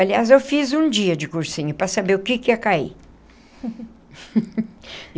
Aliás, eu fiz um dia de cursinho para saber o que que ia cair.